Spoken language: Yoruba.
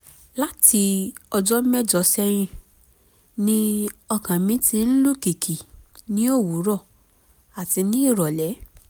láti ọjọ́ mẹ́jọ sẹ́yìn ni ọkàn mi ti ń lù kìkì ní òwúrọ̀ àti ní ìrọ̀lẹ́